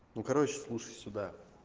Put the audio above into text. ну короче слушай сюда